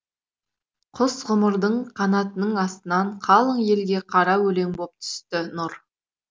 құс ғұмырдың қанатының астынан қалың елге қара өлең боп түсті нұр